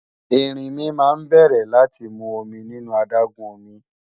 Erinmi náà bẹ̀rẹ̀ láti mu omi nínú adágún omi